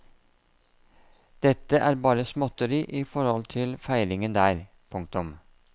Dette er bare småtteri i forhold til feiringen der. punktum